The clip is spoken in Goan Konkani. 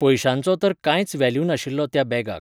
पयशांचो तर कांयच वॅल्यु नाशिल्लो त्या बॅगाक.